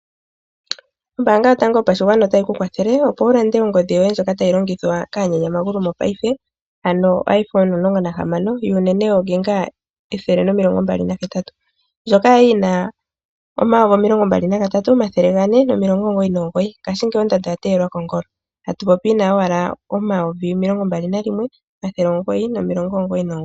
Ombaanga yotango yopashigwana otayi ku kwathele, opo wu lande ongodhi yoye ndjoka tayi longithwa kaanyanya magulu mopaife ano iPhone 16, yuunene yoonginga ethele nomilongo mbali na hetatu. Ndjoka ya li yina omayovi omilongo mbali naga tatu omathele gane nomilongo omugoyi nomugoyi. Ngashingeyi ondando oya teyelwa kongolo, atu popi owala omayivi omilongo mbali nalimwe omathele omugoyi nomilongo omugoyi nomugoyi.